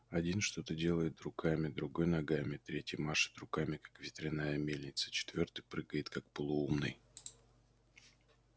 один что-то делает руками другой ногами третий машет руками как ветряная мельница четвёртый прыгает как полоумный